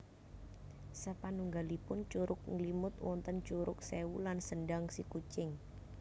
Sapanunggalipun Curug Nglimut wonten Curug Sewu lan Sendang Sikucing